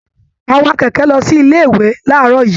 A wá kẹkẹ lọ sí ilé ìwé laarọ yìí.